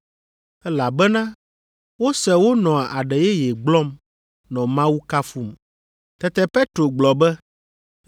elabena wose wonɔ aɖe yeye gblɔm, nɔ Mawu kafum. Tete Petro gblɔ be,